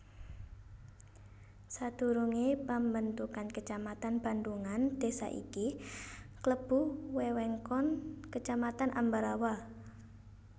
Sadurungé pambentukan kecamatan Bandhungan désa iki klebu wewengkon Kecamatan Ambarawa